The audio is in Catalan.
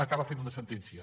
acaba fent una sentència